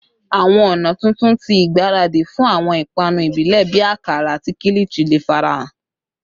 Awọn ọna tuntun ti igbaradi fun awọn ipanu ibile bii akara ati kilichi le farahan